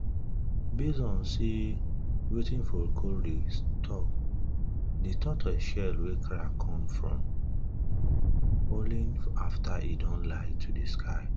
base on sey on sey wetin de tortoise shell wey crack come from falling after e don lie to de